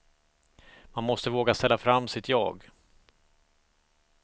Man måste våga ställa fram sitt jag.